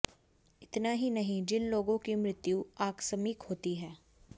इतना ही नहीं जिन लोगों की मृत्यु आकस्मिक होती है